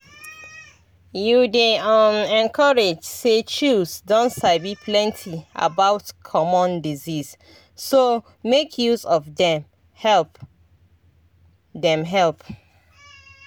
you dey um encouraged say chws don sabi plenty about common disease so make use of dem help. dem help.